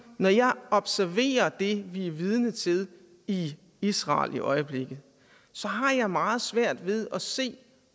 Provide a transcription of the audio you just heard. når jeg observerer det vi er vidne til i israel i øjeblikket så har jeg meget svært ved at se